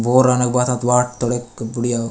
बोर रने क बथत वॉट तोड़ेक बुढ़िया --